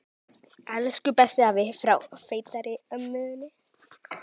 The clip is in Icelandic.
Elsku bestu afi.